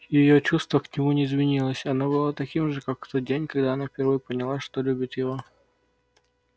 её чувство к нему не изменилось оно было таким же как в тот день когда она впервые поняла что любит его